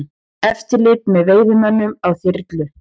Eftirlit með veiðimönnum á þyrlu